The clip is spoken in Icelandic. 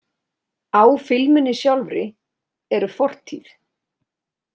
Á filmunni sjálfri eru fortíð.